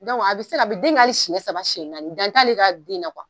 a be se ka , a bi den kɛ hali siɲɛ saba siɲɛ naani dan t'ale ka den na